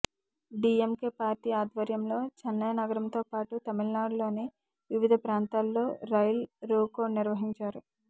DMK party ఆధ్వర్యంలో చెన్నై నగరంతో పాటు తమిళనాడులోని వివిధ ప్రాంతాల్లో రైల్ రోకో నిర్వహించారు